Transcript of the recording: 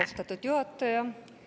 Austatud juhataja!